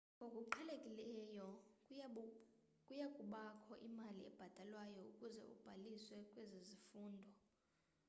ngokuqhelekileyo kuyakubakho imali ebhatalwayo ukuze ubhaliswe kwezi zifundo